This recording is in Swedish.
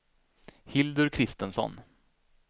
Hildur Christensson